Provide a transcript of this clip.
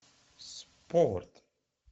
спорт